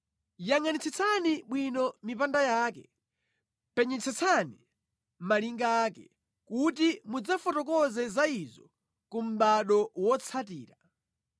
Yangʼanitsitsani bwino mipanda yake, penyetsetsani malinga ake, kuti mudzafotokoze za izo ku mʼbado wotsatira.